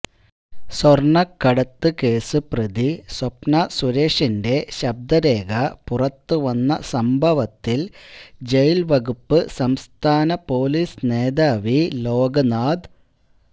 സ്വര്ണക്കടത്ത് case പ്രതി സ്വപ്ന സുരേഷിന്റെ ശബ്ദ രേഖ പുറത്തുവന്ന സംഭവത്തില് ജയില് വകുപ്പ് സംസ്ഥാന പൊലീസ് മേധാവി ലോക്നാഥ്